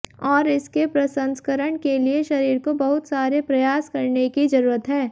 और इसके प्रसंस्करण के लिए शरीर को बहुत सारे प्रयास करने की जरूरत है